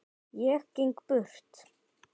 Ég geng burt.